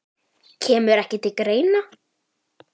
Kemur ekki til greina